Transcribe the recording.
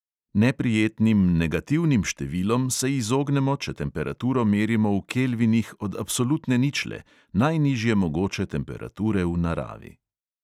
Neprijetnim negativnim številom se izognemo, če temperaturo merimo v kelvinih od absolutne ničle, najnižje mogoče temperature v naravi.